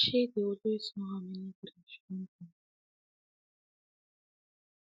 shey dey always know how many drink she don drink